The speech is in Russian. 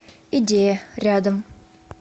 идея рядом